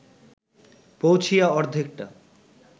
পৌঁছিয়া অর্ধেকটা